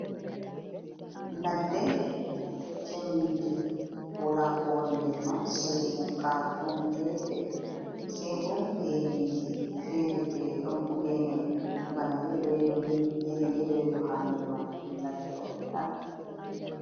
Ladde chembinde walakowoni der man sei bukkaru ɗon gefe se bo geneji fere fere ɗon fu gene bana gene outyelo yelo ha nder man ɗum ladde on tan.